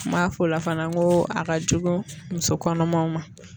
N m'a f'o la fana ko a ka jugu muso kɔnɔmaw ma